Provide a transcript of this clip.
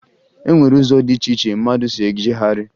E nwere ụzọ dị iche iche mmadụ si ejegharị